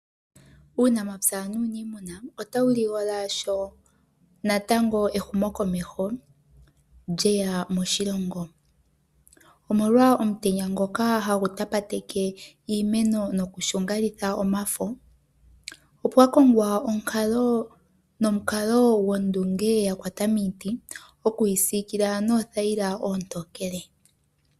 Uunamapya nuunimuna ota wu ligola shoo natango ehumo komeho lye ya moshilongo. Omolwa omutenya ngoka hagu tapateke iimeno noku shungalitha omafo opwa kongwa onkalo nomukalo gondunge ya kwata miiti oku yi siikila noothayila oontokele.